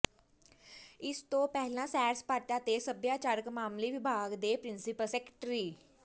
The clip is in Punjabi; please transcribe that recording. ਇਸ ਤੋਂ ਪਹਿਲਾਂ ਸੈਰ ਸਪਾਟਾ ਤੇ ਸੱਭਿਆਚਾਰਕ ਮਾਮਲੇ ਵਿਭਾਗ ਦੇ ਪਿ੍ਰੰਸੀਪਲ ਸੈਕਟਰੀ